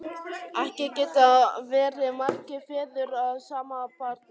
Ekki geta verið margir feður að sama barni!